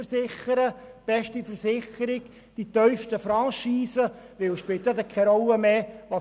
Sie nehmen die beste Versicherung und die tiefste Franchise, weil es dann keine Rolle mehr spielt.